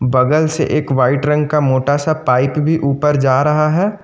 बगल से एक वाइट रंग का मोटा सा पाइप भी ऊपर जा रहा है।